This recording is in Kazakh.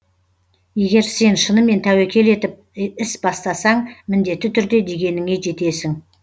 егер сен шынымен тәуекел етіп іс бастасаң міндетті түрде дегеніңе жетесің